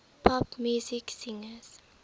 pop music singers